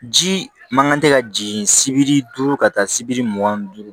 Ji man kan tɛ ka jigin sibiri ka taa sibiri mugan ni duuru